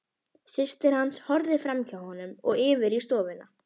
Systir hans horfði framhjá honum og yfir í stofuna.